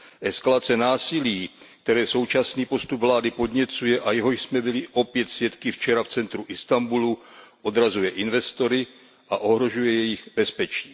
Eskalace násilí, které současný postup vlády podněcuje a jehož jsme byli opět svědky včera v centru Istanbulu, odrazuje investory a ohrožuje jejich bezpečí.